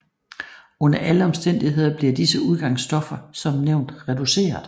Under alle omstændigheder bliver disse udgangsstoffer som nævnt reduceret